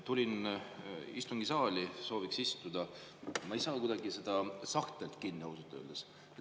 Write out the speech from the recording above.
Tulin istungisaali, sooviks istuda, aga ma ei saa kuidagi seda sahtlit kinni, ausalt öeldes.